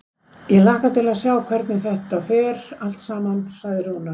Ég hlakka til að sjá hvernig þetta fer allt saman, sagði Rúnar.